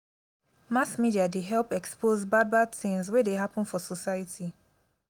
mass media dey help expose bad bad tins wey dey happen for society.